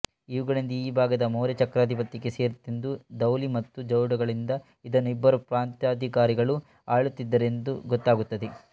ಇವುಗಳಿಂದ ಈ ಭಾಗ ಮೌರ್ಯಚಕ್ರಾಧಿಪತ್ಯಕ್ಕೆ ಸೇರಿದ್ದಿತೆಂದೂ ಧೌಲಿ ಮತ್ತು ಜೌಗಡಗಳಿಂದ ಇದನ್ನು ಇಬ್ಬರು ಪ್ರಾಂತಾಧಿಕಾರಿಗಳು ಆಳುತ್ತಿದ್ದರೆಂದೂ ಗೊತ್ತಾಗುತ್ತದೆ